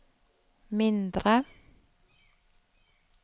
mindre